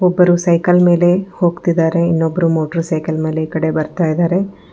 ಒಬ್ಬರು ಸೈಕಲ್ ಮೇಲೆ ಹೋಗ್ತಿದ್ದಾರೆ ಇನ್ನೊಬ್ಬರು ಮೋಟರ್ ಸೈಕಲ್ ಮೇಲೆ ಈ ಕಡೆ ಬರ್ತಾ ಇದ್ದಾರೆ.